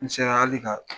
N sera hali ka